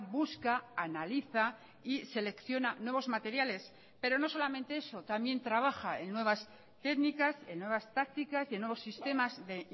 busca analiza y selecciona nuevos materiales pero no solamente eso también trabaja en nuevas técnicas en nuevas tácticas y en nuevos sistemas de